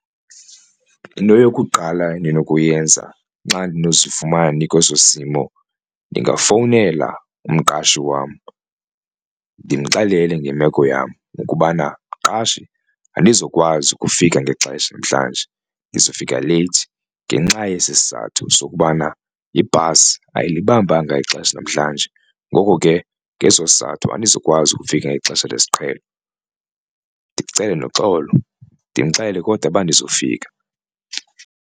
Into yokuqala endinokuyenza xa ndinozifumana ndikweso simo ndingafowunela umqashi wam ndimxelele ngemeko yam ukubana, mqashi andizokwazi ukufika ngexesha namhlanje ndiza kufika leyithi ngenxa yesi sizathu sokubana ibhasi ayilibambanga ixesha namhlanje ngoko ke ngeso sizathu andizukwazi ukufika ngexesha lesiqhelo ndicele noxolo ndimxelele kodwa uba ndizofika.